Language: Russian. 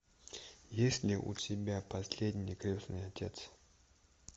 есть ли у тебя последний крестный отец